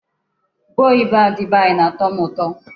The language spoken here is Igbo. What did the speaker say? Ube oyibo a dị be anya na-atọ m ụtọ.